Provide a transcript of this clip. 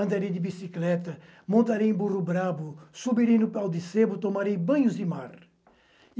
Andarei de bicicleta, montarei em burro brabo, subirei no pau de cebo, tomarei banhos de mar.